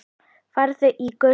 Farðu í Guðs friði.